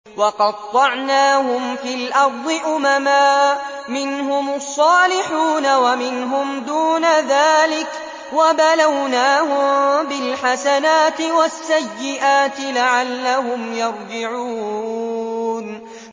وَقَطَّعْنَاهُمْ فِي الْأَرْضِ أُمَمًا ۖ مِّنْهُمُ الصَّالِحُونَ وَمِنْهُمْ دُونَ ذَٰلِكَ ۖ وَبَلَوْنَاهُم بِالْحَسَنَاتِ وَالسَّيِّئَاتِ لَعَلَّهُمْ يَرْجِعُونَ